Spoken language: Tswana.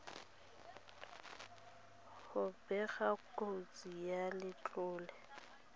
go bega kotsi ya letlole